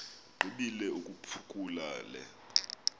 igqibile ukuphakula le